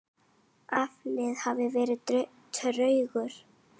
Afli hefur verið tregur.